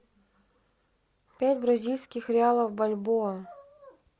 пять бразильских реалов в бальбоа